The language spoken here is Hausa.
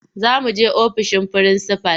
Za muje ofishin frinsifal.